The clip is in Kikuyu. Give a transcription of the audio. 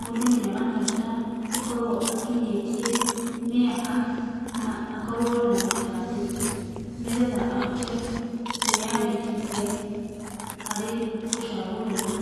mũndũ nĩ arabatara gũkorwo akinyĩtie mĩaka na akorwo na gĩbandĩ nĩgetha ahote kwĩyandĩkithia harĩ gũcagũrana.